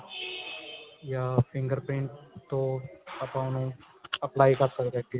ਯਾ fingerprint ਤੋਂ ਆਪਾਂ ਉਹਨੂੰ apply ਕਰ ਸਕਦੇ ਹਾਂ ਅੱਗੇ